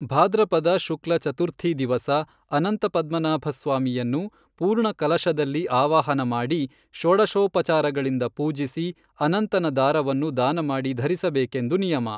ಭಾದ್ರಪದ ಶುಕ್ಲ ಚತುರ್ಥೀ ದಿವಸ ಅನಂತ ಪದ್ಮನಾಭಸ್ವಾಮಿಯನ್ನು ಪೂರ್ಣಕಲಶದಲ್ಲಿ ಆವಾಹನ ಮಾಡಿ ಷೋಡಶೋಪಚಾರಗಳಿಂದ ಪೂಜಿಸಿ ಅನಂತನ ದಾರವನ್ನು ದಾನ ಮಾಡಿ ಧರಿಸಬೇಕೆಂದು ನಿಯಮ.